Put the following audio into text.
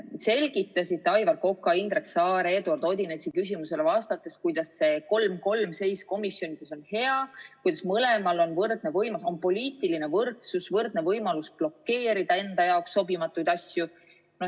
Selgitasite Aivar Koka, Indrek Saare, Eduard Odinetsi küsimusele vastates, kuidas see 3 : 3 seis komisjonides on hea, kuidas mõlemal on võrdne võim, kuidas on poliitiline võrdsus ja võrdne võimalus blokeerida enda jaoks sobimatuid asju.